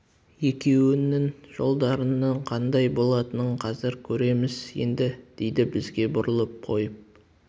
екеуіңнің жолдарыңның қандай болатынын қазір көреміз енді дейді бізге бұрылып қойып